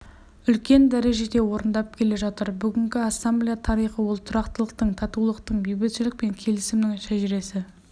үлкен дәрежеде орындап келе жатыр бүгінгі ассамблея тарихы ол тұрақтылықтың татулықтың бейбітшілік пен келісімнің шежіресі